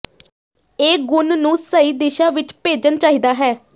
ਇਹ ਗੁਣ ਨੂੰ ਸਹੀ ਦਿਸ਼ਾ ਵਿੱਚ ਭੇਜਣ ਚਾਹੀਦਾ ਹੈ